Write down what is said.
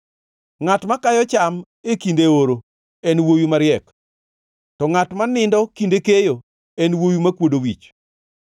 Ngʼat makayo cham e kinde oro en wuowi mariek, to ngʼat ma nindo kinde keyo en wuowi makwodo wich.